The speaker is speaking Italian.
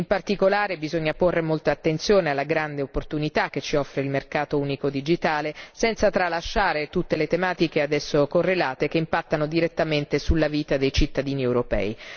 In particolare, bisogna porre molta attenzione alla grande opportunità che ci offre il mercato unico digitale, senza tralasciare tutte le tematiche ad esso correlate che impattano direttamente sulla vita dei cittadini europei.